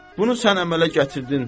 Bunu sən əmələ gətirdin.